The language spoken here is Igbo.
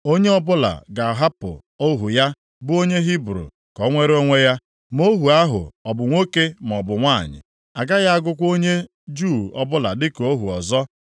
Onye ọbụla ga-ahapụ ohu ya bụ onye Hibru ka o nwere onwe ya, ma ohu ahụ ọ bụ nwoke maọbụ nwanyị. A gaghị agụkwa onye Juu ọbụla dịka ohu ọzọ.